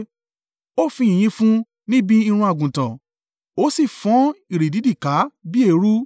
Ó fi yìnyín fún ni bi irun àgùntàn ó sì fọ́n ìrì dídì ká bí eérú